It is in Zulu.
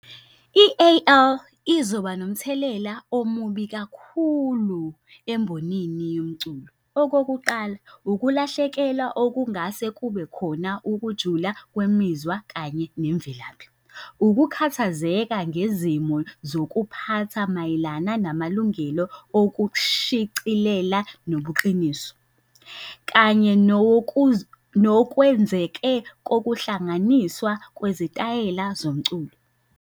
I-A_L izoba nomthelela omubi kakhulu embonini yomculo. Okokuqala, ukulahlekelwa okungase kube khona ukujula kwemizwa kanye nemvelaphi. Ukukhathazeka ngezimo zokuphatha mayelana namalungelo okushicilela nobuqiniso. Kanye nokwenzeke kokuhlanganiswa kwezitayela zomculo.